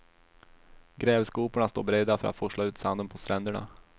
Grävskoporna står beredda för att forsla ut sanden på stränderna.